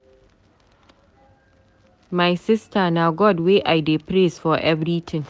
My sister na God wey I dey praise for everything.